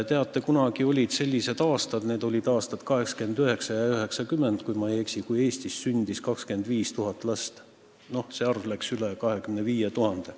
Teate, kunagi olid aastad – need olid aastad 1889 ja 1990, kui ma eksi –, kui Eestis sündis 25 000 last ja isegi rohkem.